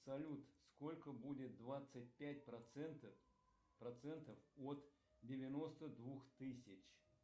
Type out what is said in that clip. салют сколько будет двадцать пять процентов процентов от девяносто двух тысяч